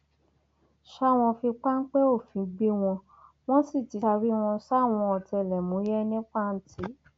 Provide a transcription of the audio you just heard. ṣá wọn fi páńpẹ òfin gbé wọn wọn sì ti taari wọn sáwọn ọtẹlẹmúyẹ ní pàǹtí